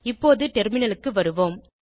இப்போது டெர்மினலுக்கு வருவோம்